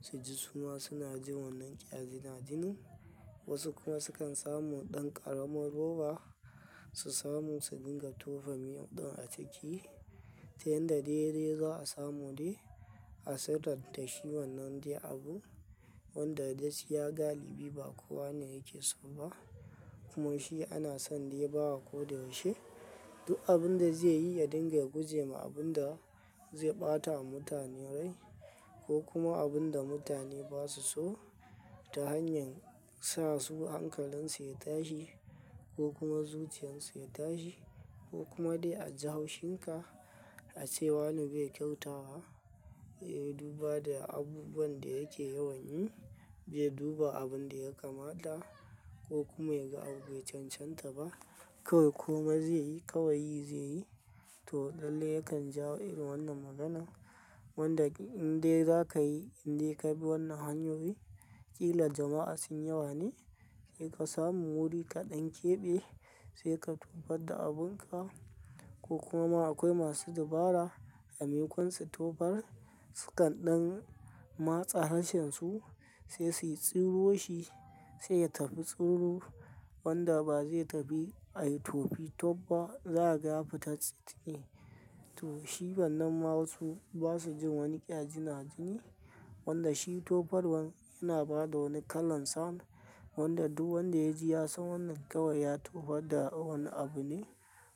Suji suma suna jin wannan ƙyazina jini. Wasu kuma sukan samu ɗan ƙarama roba, su samu su dinga tofa miyon ɗin a ciki. Ta yadda dai dai za a samu dai a sadar da shi wannan dai abu. Wanda gaskiya galibi ba kowa ne yake so ba. Kuma shi ana son dai bawa ko da yaushe. Duk abun da zaiyi ya dinga gujema abunda zai ɓata a mutane rai ko kuma abunda mutane basu so. Ta hanyar sa su hankalin su ya tashi ko kuma zuciyan su ya tashi ko kuma dai a ji haushin ka, ace wane bai kyautata ba. Bai Duba da abubuwanda yake yawan yin, bai duba abunda yakamata ko kuma yaga abu bai cancanta ba. Kawai komai zaiyi kawai yi zaiyi. To lalle yakan jawo irin wannan maganan. Wanda indai zakayi indai kabi wannan hanyoyi, kila jama'a sun yawa ne. Sai kasamu wuri kaɗan ƙebe, sai ka tofarda abunka. Ko kuma ma akwai masu dabara a maimakon su tofar. Sukan ɗan matse harshensu sai su yi tsiro shi sai ya tafi tsiro. Wanda ba zai tafi a yi tofi tob ba, za a ga ya fita tsiye. To shi wannan ma wasu basujin wani ƙyazina jini. Wanda shi tofarwan yana bada wani kalan sound. Wanda duk wanda ya ji ya san wannan kawai ya tofar da wani abu ne.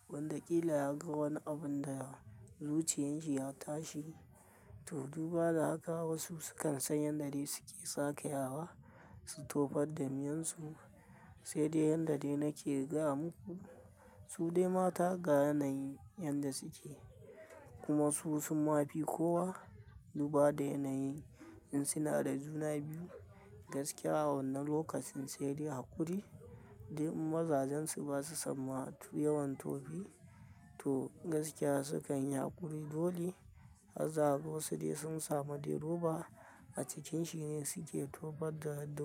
Wanda kila ya ga wani abun da zuciyan shi ya tashi. To duba da haka wasu sukan san yanda dai suke sakayawa, su tofarda miyon su. Sai dai yanda dai nake gaya muku, su dai mata ga yanayi yanda suke. Kuma su sun mafi kowa duba da yanayin in sunada juna biyu. Gaskiya a wannan lokacin sai dai haƙuri. Hardai in mazajensu basu son ma yawan tofi. To gaskiya sukan yi haƙuri. Doli za a ga wasu dai sun samu dai roba a cikanshi ne suke tofarda.